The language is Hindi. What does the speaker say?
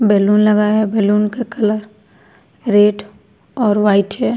बैलून लगा है। बैलून का कलर रेड और व्हाइट है।